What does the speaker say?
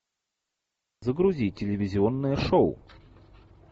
загрузи телевизионное шоу